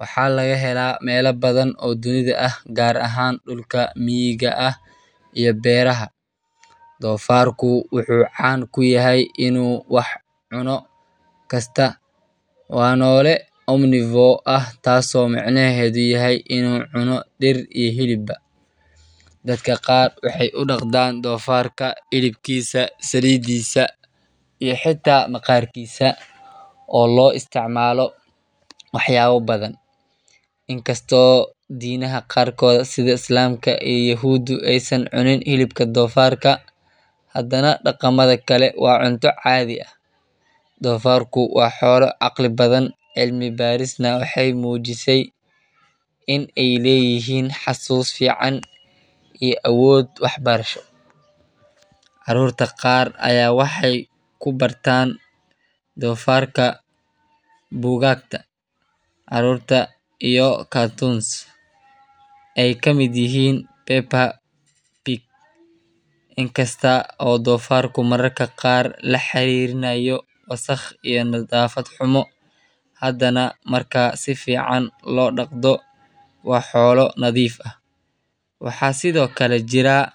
waxa lagahela mela badhan oo dunidha ahh gar ahan dulka miga ahh iyo beraha, donfarku wuxuu can kuyahay inuu wax cuno waxkasta wa nolee omnivo ahh taso micnahedhu yahay inu cuno dir iyo hiliba, dadka waxey udaqdan dofarka hilibkisa salidisa ii hita maqarkisaa oo loistacmalo waxyabo badhan, inkasto dinaha qarkodha sidha islamka ii yahuda eyy san cunin hilibka dofarka hadana daqamdha kale wa cunta cadhi ahh, dofarku wa xola caqli badhan cilmi barisna waxey mujisay in ey leyihin xasus fican ii awod waxbarasho, carurta qar aya waxey kubaratan dofarka bugagta, carurta iyo cartoons ey kamid yihin paper pig inkasto oo donfarku mararka qar lahiririnayo wasaq ii nadhafad xumo hadana marka si fican lodaqdo wa xolaa nadhif ahh, waxa sidhokale jiraa noc.